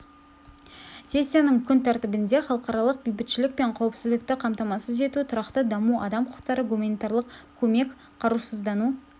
сессияның күн тәртібінде халықаралық бейбітшілік пен қауіпсіздікті қамтамасыз ету тұрақты даму адам құқықтары гуманитарлық көмек қарусыздану